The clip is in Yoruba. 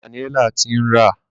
Daniella ti ń rá.